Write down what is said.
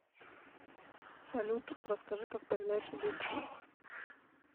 салют расскажи как появляются дети